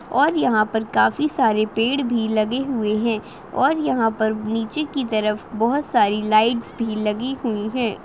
और यहाँ पर काफी सारे पेड़ भी लगे हुए है और यहाँ पर नीचे की तरफ बहुत सारी लाइट्स भी लगी हुई है।